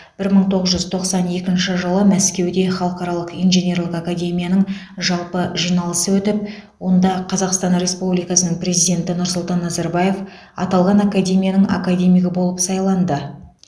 бір мың тоғыз жүз тоқсан екінші жылы мәскеуде халықаралық инженерлік академияның жалпы жиналысы өтіп онда қазақстан республикасының президенті нұрсұлтан назарбаев аталған академияның академигі болып сайланды